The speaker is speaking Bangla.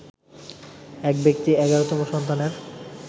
এক ব্যক্তি ১১তম সন্তানের